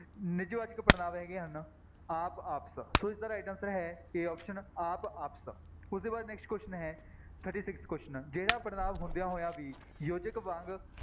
ਨਿੱਜਵਾਚਕ ਪੜ੍ਹਨਾਂਵ ਹੈਗੇ ਹਨ ਆਪ, ਆਪਸ ਸੋ ਇਸਦਾ right answer ਹੈ a option ਆਪ, ਆਪਸ, ਉਹਦੇ ਬਾਅਦ next example ਹੈ thirty six question ਜਿਹੜਾ ਪੜ੍ਹਨਾਂਵ ਹੁੰਦਿਆਂ ਹੋਇਆਂ ਵੀ ਯੋਜਕ ਵਾਂਗ